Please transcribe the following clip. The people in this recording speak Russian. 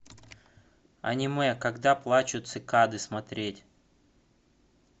аниме когда плачут цикады смотреть